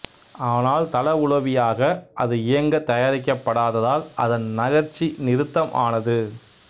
ஆனால் தளவுளவியாக அது இயங்கத் தயாரிக்கப் படாததால் அதன் நகர்ச்சி நிறுத்தம் ஆனது